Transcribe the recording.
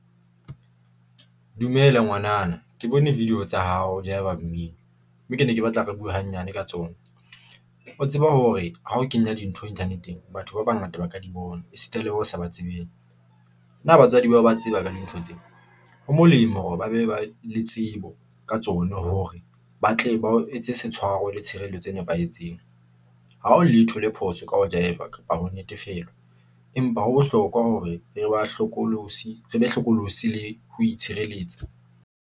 Dumela ngwanana, ke bone video tsa hao, o jaiva mmino mme ke ne ke batla re bue hanyane ka tsona. O tseba hore ha o kenya dintho internet-eng, batho ba bangata ba ka di bona, esita le bo sa ba tsebeng. Na batswadi bao ba tseba ka dintho tse? Ho molemo hore ba be ba le tsebo ka tsona hore ba tle ba o etse se tshwaro le tshireletso e nepahetseng. Ha ho letho le phoso ka ho jaefa kapa ho natefelwa. Empa ho bohlokwa hore re be hlokolosi le ho itshireletsa.